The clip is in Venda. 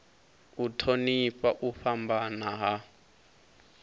u thonifha u fhambana ha